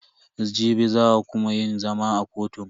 Jibi za a kuma yin zama a kotun.